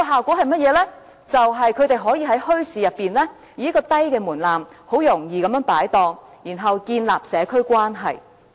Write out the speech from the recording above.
便是他們可以在墟市中，以較低門檻很容易擺檔，然後建立社區關係。